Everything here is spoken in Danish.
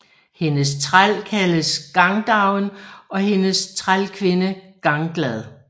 Hendes træl kaldes Gangdoven og hendes trælkvinde Ganglad